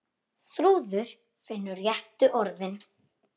Þrúður finnur réttu orðin.